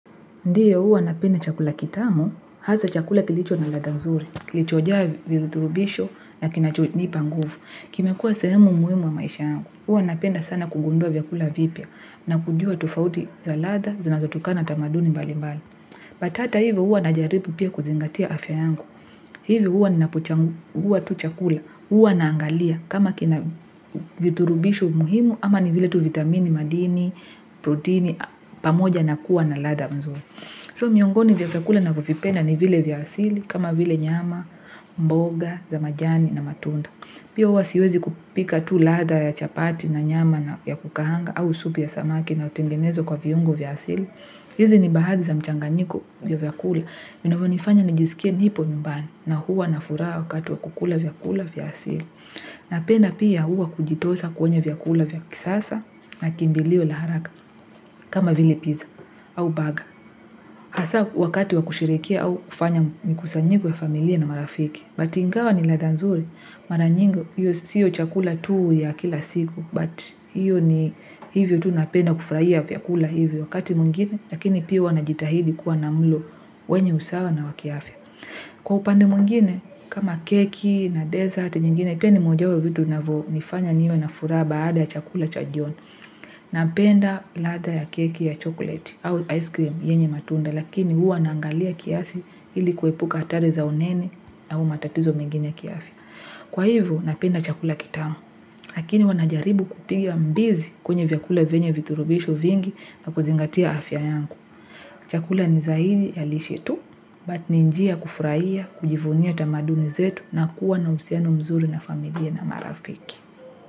Ndio huwa napenda chakula kitamu, hasa chakula kilicho na latha nzuri, kilichojaa vithurubisho na kinacho nipa nguvu. Kimekua sehemu muhimu wa maisha yangu, huwa napenda sana kugundua vyakula vipya na kujua tufauti za latha, zinazotukana na tamaduni mbalimbali. Lakini hata hivyo huwa najaribu pia kuzingatia afya yangu. Hivyo huwa ninapo changuwa tu chakula, huwa naangalia kama kina vithurubisho muhimu ama ni vile tuvitamini madini, protini, pamoja na kuwa na latha mzuri. Kwa hivyo miongoni vya vya kula navyo vipendaeni vile vya asili kama vile nyama, mboga, za majani na matunda. Pia huwa siwezi kupika tu latha ya chapati na nyama ya kukaanga au supu ya samaki inayo tengenezwa kwa viungo vya asili. Hizi ni baadhi za mchanganiko wa vyakula. Vinavonifanya nijisikie nipo nyumbani na huwa na furaha wakati wakula vyakula vya asili. Napenda pia huwa kujitosa kwenye vyakula vya kisasa na kimbilio la haraka kama vile pizza au baga. Hasa wakati wakusherehekea au kufanya mikusanyiko ya familia na marafiki. Lakini ingawa ni ladha nzuri. Maranyingi siyo chakula tuu ya kila siku. Lakini hiyo ni hivyo tuu napenda kufurahia vyakula hivyo wakati mwingine. Lakini pia huna najitahidi kuwa na mlo wenye usawa na wakiafya. Kwa upande mwingine kama keki na kitindamlo nyingine. Pia ni moja wapo wa vitu vinavyo nifanya niwe na fura baada ya chakula cha jioni. Napenda ladha ya keki ya chokoleti au aisikrimu yenye matunda. Lakini huwa naangalia kiasi iliku epuka hatari za unene au matatizo mingine ya kiafya Kwa hivyo, napenda chakula kitamu. Lakini wanajaribu kupinga mbizi kwenye vyakula venye vithurubisho vingi na kuzingatia afya yangu. Chakula ni zaidi ya leshetu, lakini ni njia ya kufurahia, kujivunia tamaduni zetu na kuwa na uhusiano mzuri wa familia na marafiki.